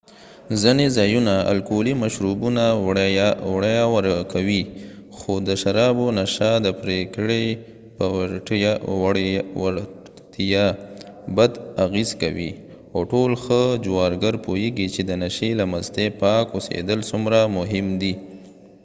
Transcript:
ځنه ځایونه الکولي مشروبونه وړیا ورکوي خو د شرابو نشه د پرېکړې په وړتیا بد اغېز کوي او ټول ښه جوارګر پوهیږي چې د نشۍ له مستې پاک اوسېدل څومره مهم دي